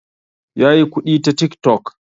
Ya yi kuɗi ta tik tok